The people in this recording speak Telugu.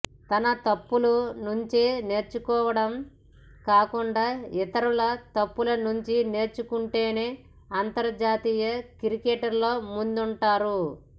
తన తప్పుల నుంచే నేర్చుకోవడం కాకుండా ఇతరుల తప్పుల నుంచి నేర్చుకొంటేనే అంతర్జాతీయ క్రికెట్లో ముందుంటారు